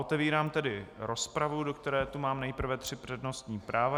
Otevírám tedy rozpravu, do které tu mám nejprve tři přednostní práva.